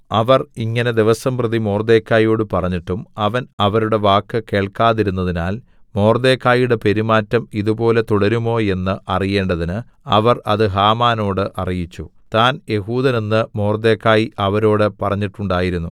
അവർ ഇങ്ങനെ ദിവസംപ്രതി മൊർദെഖായിയോട് പറഞ്ഞിട്ടും അവൻ അവരുടെ വാക്ക് കേൾക്കാതിരുന്നതിനാൽ മൊർദെഖായിയുടെ പെരുമാറ്റം ഇതുപോലെ തുടരുമോ എന്ന് അറിയേണ്ടതിന് അവർ അത് ഹാമാനോട് അറിയിച്ചു താൻ യെഹൂദൻ എന്ന് മൊർദെഖായി അവരോട് പറഞ്ഞിട്ടുണ്ടായിരുന്നു